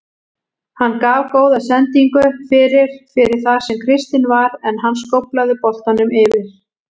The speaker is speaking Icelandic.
Hann gaf góða sendingu fyrir fyrir þar sem Kristinn var en hann skóflaði boltanum yfir.